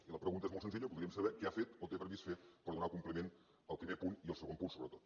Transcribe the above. i la pregunta és molt senzilla voldríem saber què ha fet o té previst fer per donar compliment al primer punt i al segon punt sobretot